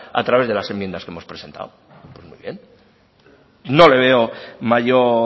a través de las enmiendas que hemos presentado no le veo mayor